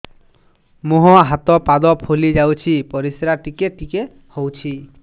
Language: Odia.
ମୁହଁ ହାତ ପାଦ ଫୁଲି ଯାଉଛି ପରିସ୍ରା ଟିକେ ଟିକେ ହଉଛି